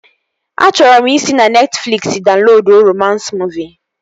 Achọrọ m ị si na Netfliksi daunloduo romans muuvi